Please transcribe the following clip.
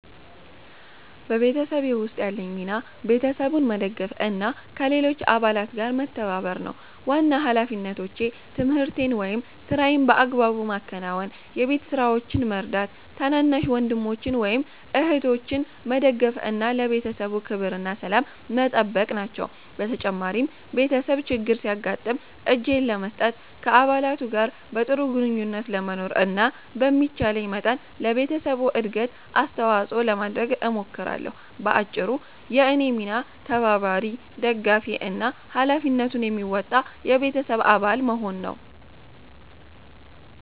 በቤተሰቤ ውስጥ ያለኝ ሚና ቤተሰቡን መደገፍ እና ከሌሎች አባላት ጋር መተባበር ነው። ዋና ሃላፊነቶቼ ትምህርቴን ወይም ሥራዬን በአግባቡ ማከናወን፣ የቤት ስራዎችን መርዳት፣ ታናናሽ ወንድሞችን ወይም እህቶችን መደገፍ እና ለቤተሰቡ ክብርና ሰላም መጠበቅ ናቸው። በተጨማሪም ቤተሰብ ችግር ሲያጋጥም እጄን ለመስጠት፣ ከአባላቱ ጋር በጥሩ ግንኙነት ለመኖር እና በሚቻለኝ መጠን ለቤተሰቡ እድገት አስተዋጽኦ ለማድረግ እሞክራለሁ። በአጭሩ፣ የእኔ ሚና ተባባሪ፣ ደጋፊ እና ሃላፊነቱን የሚወጣ የቤተሰብ አባል መሆን ነው።